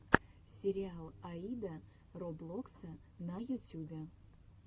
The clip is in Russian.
сериал аида роблокса на ютюбе